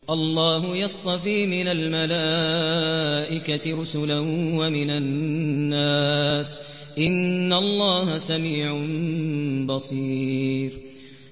اللَّهُ يَصْطَفِي مِنَ الْمَلَائِكَةِ رُسُلًا وَمِنَ النَّاسِ ۚ إِنَّ اللَّهَ سَمِيعٌ بَصِيرٌ